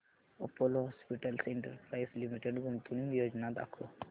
Apollo Hospitals Enterprise Limited गुंतवणूक योजना दाखव